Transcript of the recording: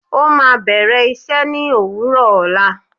Ó máa bẹ̀rẹ̀ iṣẹ́ ní òwúrọ̀ ọ̀la